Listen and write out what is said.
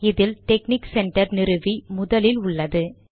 இதில் technic centre நிறுவி முதலில் உள்ளது